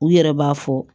U yɛrɛ b'a fɔ